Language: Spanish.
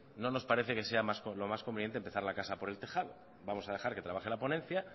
no nos parece que sea lo más conveniente empezar la casa por el tejado vamos a dejar que trabaje la ponencia